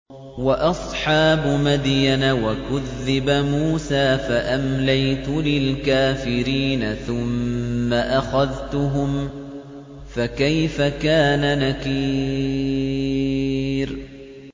وَأَصْحَابُ مَدْيَنَ ۖ وَكُذِّبَ مُوسَىٰ فَأَمْلَيْتُ لِلْكَافِرِينَ ثُمَّ أَخَذْتُهُمْ ۖ فَكَيْفَ كَانَ نَكِيرِ